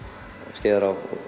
Skeiðará